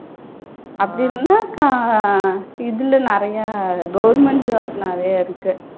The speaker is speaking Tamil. அப்படி இல்லன்னா க இதுல நிறைய government jobs நிறைய இருக்கு.